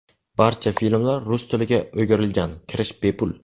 Barcha filmlar rus tiliga o‘girilgan, kirish bepul.